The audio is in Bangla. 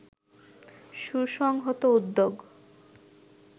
সুসংহত উদ্যোগ